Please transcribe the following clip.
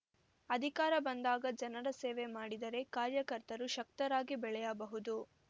ಅಧಿಕಾರ ಬಂದಾಗ ಜನರ ಸೇವೆ ಮಾಡಿದರೆ ಕಾರ್ಯಕರ್ತರು ಶಕ್ತರಾಗಿ ಬೆಳೆಯಬಹುದು